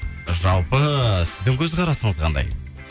жалпы сіздің көзқарасыңыз қандай